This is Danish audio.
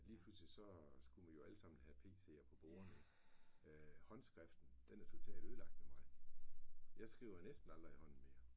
Lige pludselig så skulle man jo alle sammen have pc'er på bordene. Håndskriften den er totalt ødelagt ved mig. Jeg skriver næsten aldrig i hånden mere